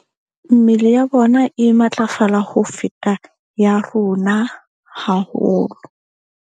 Mmele ya bona e matlafala ho feta ya rona haholo.